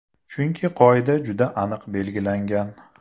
Chunki qoida juda aniq belgilangan.